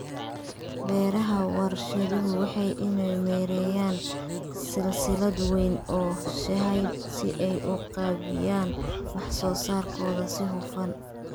Beeraha warshaduhu waa inay maareeyaan silsilad weyn oo sahayda si ay u qaybiyaan wax soo saarkooda si hufan.